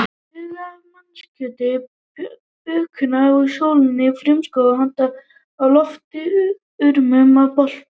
Haugar af mannakjöti bökuðust í sólinni, frumskógur handa á lofti, urmull af boltum.